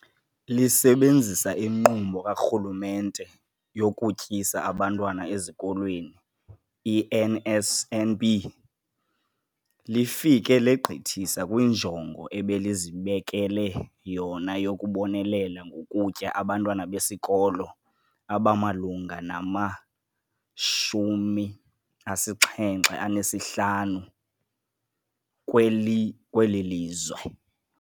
Lisebenzisa iNkqubo kaRhulumente yokuTyisa Abantwana Ezikolweni, i-NSNP, lifike legqithisa kwinjongo ebelizibekele yona yokubonelela ngokutya abantwana besikolo abamalunga nama-75 kweli kweli lizwe.